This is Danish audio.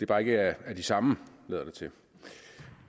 bare ikke af de samme lader det til